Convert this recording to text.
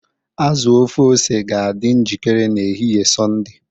azu ofe ose ga-adị njikere n'ehihie Sọnde